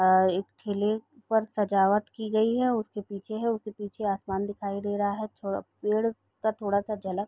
और ठेले पर सजावट की गई है उसके पीछे है उसके पीछे आसमान दिखाई दे रहा है थोडा पेड़ का थोडा सा झलक --